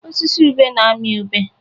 Osisi ube na-amị ube.